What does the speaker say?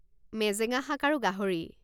মেজেঙা শাক আৰু গাহৰি